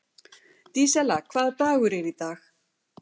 Dísella, hvaða dagur er í dag?